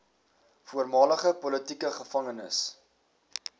voormalige politieke gevangenes